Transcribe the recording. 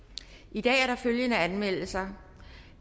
i dag er der følgende anmeldelser